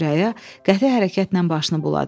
Sürəya qəti hərəkətlə başını buladı.